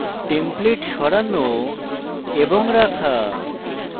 templates সরানো এবং রাখা